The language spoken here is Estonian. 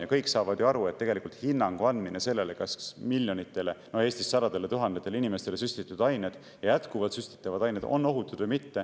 Ja kõik saavad aru, et tegelikult hinnangu andmine sellele, kas miljonitele, no Eesti puhul sadadele tuhandetele inimestele süstitud ained ja jätkuvalt süstitavad ained on ohutud või mitte.